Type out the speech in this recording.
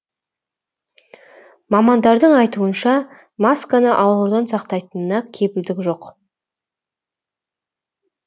мамандардың айтуынша масканың аурудан сақтайтынына кепілдік жоқ